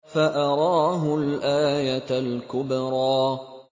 فَأَرَاهُ الْآيَةَ الْكُبْرَىٰ